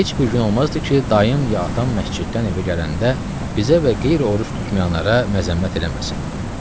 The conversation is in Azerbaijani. Və heç bir gün olmazdı ki, dayım ya atam məsciddən evə gələndə bizə və qeyri-oruc tutmayanlara məzəmmət eləməsin.